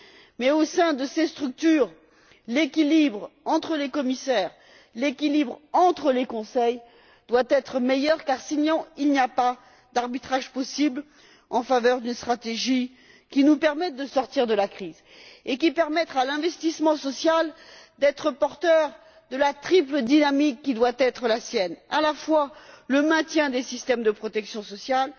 Mais au sein de ces structures, l'équilibre entre les commissaires, l'équilibre entre les conseils, doit être meilleur car, sinon, il n'y a pas d'arbitrage possible en faveur d'une stratégie qui nous permette de sortir de la crise et qui permette à l'investissement social d'être porteur de la triple dynamique qui doit être la sienne, à la fois le maintien des systèmes de protection sociale,